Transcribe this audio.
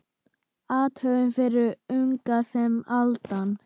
Athöfn fyrir unga sem aldna.